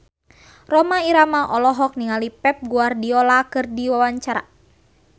Rhoma Irama olohok ningali Pep Guardiola keur diwawancara